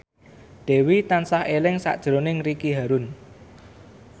Dewi tansah eling sakjroning Ricky Harun